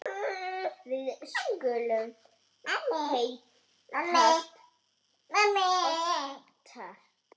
Við skulum hittast oftar